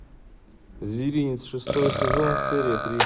зверинец шестой сезон серия три